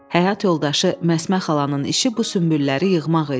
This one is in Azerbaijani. Həyat yoldaşı Məsmə xalanın işi bu sünbülləri yığmaq idi.